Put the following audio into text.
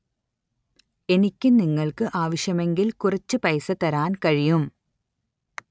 എനിക്ക് നിങ്ങള്‍ക്ക് ആവശ്യമെങ്കില്‍ കുറച്ചു പൈസ തരാന്‍ കഴിയും